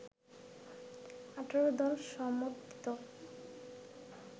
১৮-দল সমর্থিত